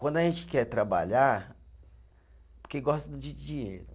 Quando a gente quer trabalhar, porque gosta de dinheiro.